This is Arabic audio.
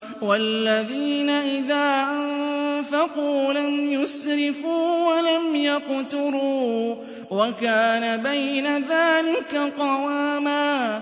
وَالَّذِينَ إِذَا أَنفَقُوا لَمْ يُسْرِفُوا وَلَمْ يَقْتُرُوا وَكَانَ بَيْنَ ذَٰلِكَ قَوَامًا